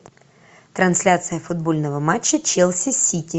трансляция футбольного матча челси сити